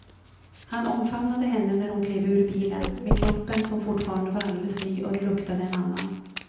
Han omfamnade henne när hon klev ur bilen, med kroppen som fortfarande var alldeles ny och luktade en annan.